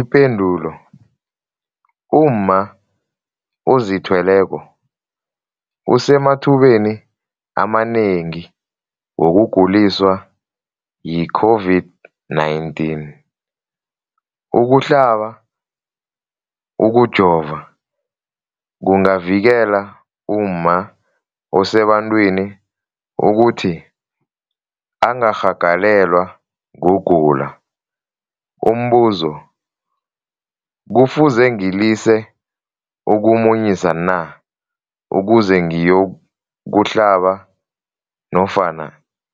Ipendulo, umma ozithweleko usemathubeni amanengi wokuguliswa yi-COVID-19. Ukuhlaba, ukujova kungavikela umma osebantwini ukuthi angarhagalelwa kugula. Umbuzo, kufuze ngilise ukumunyisa na ukuze ngiyokuhlaba nofana